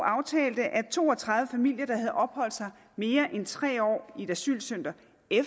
aftalte at to og tredive familier der havde opholdt sig mere end tre år i et asylcenter